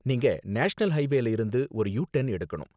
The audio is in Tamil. நீங்க நேஷனல் ஹைவேல இருந்து ஒரு யு டர்ன் எடுக்கணும்.